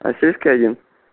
российская